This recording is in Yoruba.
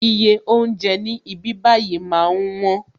Iye oúnjẹ ní ibí bayi máa ń wón